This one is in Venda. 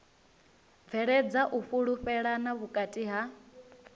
bveledza u fhulufhelana vhukati ha